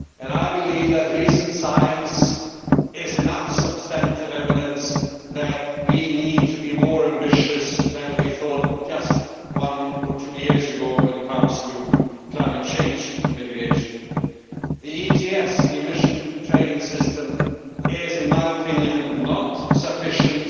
I believe that recent science is enough substantive evidence that we need to be more ambitious than we thought just one or two years ago when it comes to climate change mitigation. The Emission Trading System is, in my opinion, not sufficient